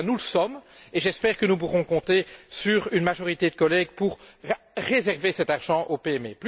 En tout cas, nous le sommes et j'espère que nous pourrons compter sur une majorité de collègues pour réserver cet argent aux PME.